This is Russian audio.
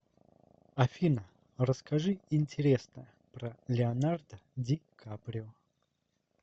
афина расскажи интересное про леонардо ди каприо